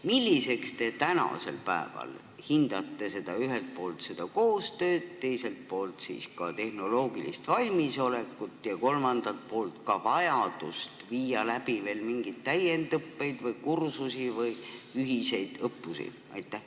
Milliseks te tänasel päeval hindate ühelt poolt seda koostööd, teiselt poolt tehnoloogilist valmisolekut ja kolmandalt poolt ka vajadust viia läbi veel mingit täiendusõpet, kursusi või ühiseid õppusi?